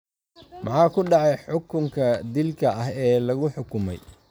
Maxaa ku dhacay xukunka dilka ah ee lagu xukumay?